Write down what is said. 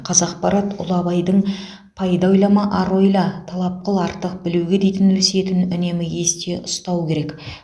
қазақпарат ұлы абайдың пайда ойлама ар ойла талап қыл артық білуге дейтін өсиетін үнемі есте ұстау керек